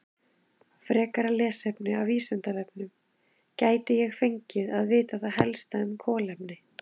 Frekara lesefni af Vísindavefnum: Gæti ég fengið að vita það helsta um kolefni?